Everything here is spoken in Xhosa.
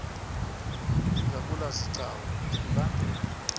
ingabula zigcawu kulandele